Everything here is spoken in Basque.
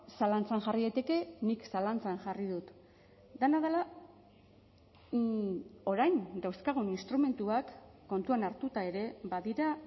zalantzan jarri daiteke nik zalantzan jarri dut dena dela orain dauzkagun instrumentuak kontuan hartuta ere badira